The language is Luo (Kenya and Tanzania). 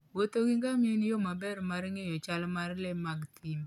Wuotho gi ngamia en yo maber mar ng'eyo chal mar le mag thim.